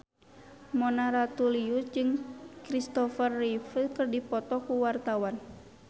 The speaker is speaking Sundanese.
Mona Ratuliu jeung Christopher Reeve keur dipoto ku wartawan